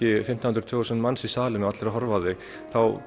fimmtán hundruð tvö þúsund manns í salinn og allir að horfa á þig þá